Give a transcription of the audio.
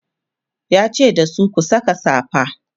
yace dasu "ku Saka safa!"